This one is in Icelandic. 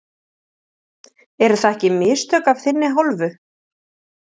Eru það ekki mistök af þinni hálfu?